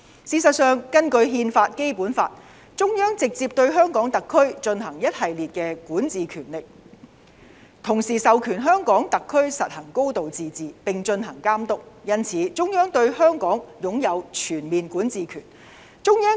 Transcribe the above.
事實上，根據憲法和《基本法》，中央直接對香港特區進行一系列的管治權力，同時授權香港特區實行"高度自治"，並進行監督，因此，中央對香港擁有全面管治權。